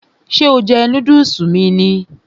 Ṣé o jẹ núdùsì mi ni?